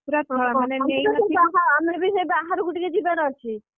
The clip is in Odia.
ପୂରା ମାନେ ନେଇ, ଆମେ ବି ସେଇ ବାହାରକୁ ଟିକେ ଯିବାର ଅଛି